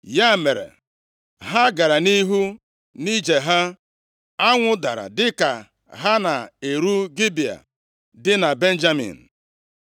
Ya mere, ha gara nʼihu nʼije ha. Anwụ dara dịka ha na-eru Gibea dị na Benjamin.